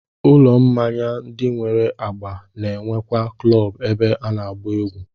Ụlọ mmanya ndị nwere agba na-enwekwa klọọbụ ebe a na-agba egwú